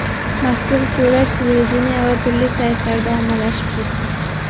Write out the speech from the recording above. Mazkur surat televideniye va turli saytlarda ommalashib ketdi.